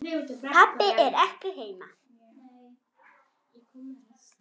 Pabbi er ekki heima.